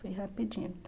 Foi rapidinho.